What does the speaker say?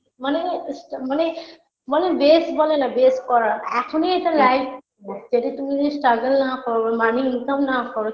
মানে স্টা মানে মানে base বলেনা base করা এখনি এটা life যেটা তুমি যদি struggle না করো money income না করো